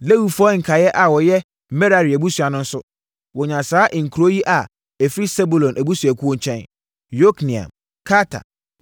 Lewifoɔ nkaeɛ a wɔyɛ Merari abusua no nso, wɔnyaa saa nkuro yi a ɛfiri Sebulon abusuakuo nkyɛn: Yokneam, Karta,